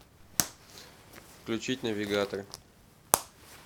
включить навигатор